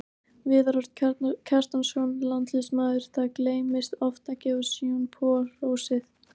Viðar Örn Kjartansson, landsliðsmaður Það gleymist oft að gefa Sean Paul hrósið.